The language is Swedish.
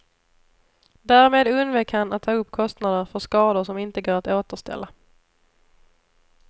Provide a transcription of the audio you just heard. Därmed undvek han att ta upp kostnader för skador som inte går att återställa.